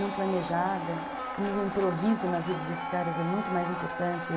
não planejada, como o improviso na vida desses caras é muito mais importante.